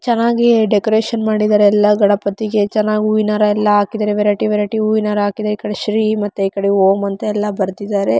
ಚೆನ್ನಾಗಿ ಡೆಕೋರೇಷನ್ ಮಾಡಿದ್ದಾರೆ ಎಲ್ಲ ಗಣಪತಿಗೆ ಚೆನ್ನಾಗಿ ಹೂವಿನ ಹಾರ ಎಲ್ಲ ಹಾಕಿದ್ದಾರೆ ವೆರೈಟಿ ವೆರೈಟಿ ಹೂವಿನ ಹಾರ ಹಾಕಿದ್ದಾರೆ ಈ ಕಡೆ ಶ್ರೀ ಮತ್ತೆ ಓಂ ಅಂತ ಬರೆದಿದ್ದರೆ.